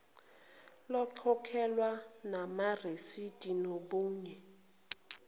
lokhokhelwe namarisidi nobunye